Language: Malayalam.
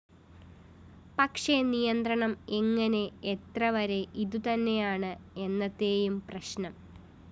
പക്ഷേ നിയന്ത്രണം എങ്ങനെ എത്രവരെ ഇതുതന്നെയാണ് എന്നത്തെയും പ്രശ്‌നം